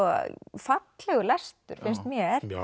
fallegur lestur finnst mér mér